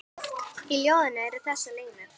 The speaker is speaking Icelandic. Í ljóðinu eru þessar línur